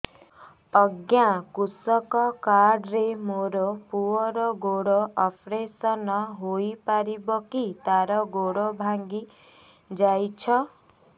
ଅଜ୍ଞା କୃଷକ କାର୍ଡ ରେ ମୋର ପୁଅର ଗୋଡ ଅପେରସନ ହୋଇପାରିବ କି ତାର ଗୋଡ ଭାଙ୍ଗି ଯାଇଛ